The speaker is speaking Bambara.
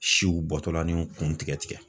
Siw bɔtɔlaninw kun tigɛ tigɛ.